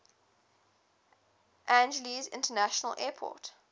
angeles international airport